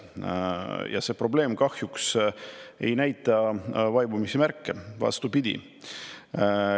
Ja see probleem kahjuks ei näita vaibumise märke, vastupidi.